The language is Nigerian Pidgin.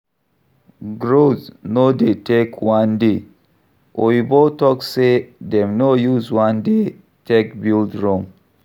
Growth no dey take one day, oyibo talk sey dem no use one day take build Rome